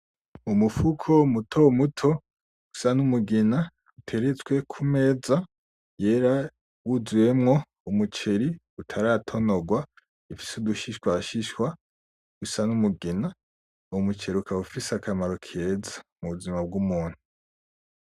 Umufuko mutomuto usa n'umugina, uteretswe kumeza wuzuyemwo umuceri utaratonogwa ufise udushishwashishwa dusa n'umugina uwo muceri ukaba ufise akamaro keza mu buzima bw'umuntu.